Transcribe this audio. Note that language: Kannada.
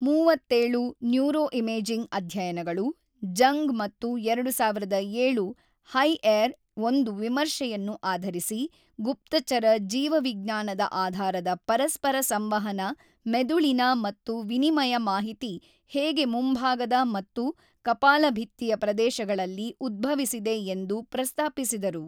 ೩೭ ನ್ಯೂರೋಇಮೇಜಿಂಗ್ ಅಧ್ಯಯನಗಳು ಜಂಗ್ ಮತ್ತು ೨೦೦೭ ಹೈಎರ್ ಒಂದು ವಿಮರ್ಶೆಯನ್ನು ಆಧರಿಸಿ ಗುಪ್ತಚರ ಜೀವವಿಜ್ಞಾನದ ಆಧಾರದ ಪರಸ್ಪರ ಸಂವಹನ ಮೆದುಳಿನ ಮತ್ತು ವಿನಿಮಯ ಮಾಹಿತಿ ಹೇಗೆ ಮುಂಭಾಗದ ಮತ್ತು ಕಪಾಲಭಿತ್ತಿಯ ಪ್ರದೇಶಗಳಲ್ಲಿ ಉದ್ಭವಿಸಿದೆ ಎಂದು ಪ್ರಸ್ತಾಪಿಸಿದರು.